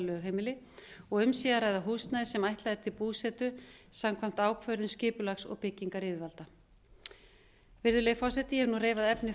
lögheimili og um sé að ræða húsnæði sem ætlað er til búsetu samkvæmt ákvörðunskipulags og byggingaryfirvalda virðulegi forseti ég hef nú reifað efni